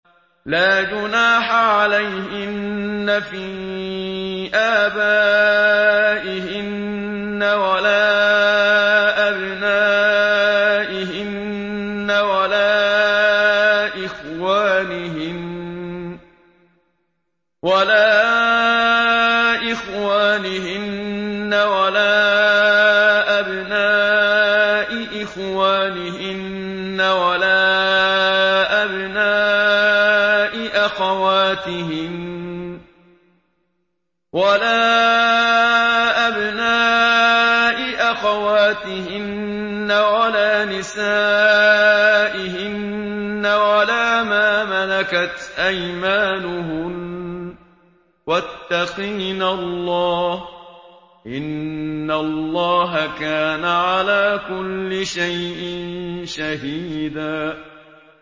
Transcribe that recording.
لَّا جُنَاحَ عَلَيْهِنَّ فِي آبَائِهِنَّ وَلَا أَبْنَائِهِنَّ وَلَا إِخْوَانِهِنَّ وَلَا أَبْنَاءِ إِخْوَانِهِنَّ وَلَا أَبْنَاءِ أَخَوَاتِهِنَّ وَلَا نِسَائِهِنَّ وَلَا مَا مَلَكَتْ أَيْمَانُهُنَّ ۗ وَاتَّقِينَ اللَّهَ ۚ إِنَّ اللَّهَ كَانَ عَلَىٰ كُلِّ شَيْءٍ شَهِيدًا